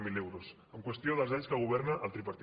zero euros en qüestió dels anys que governa el tripartit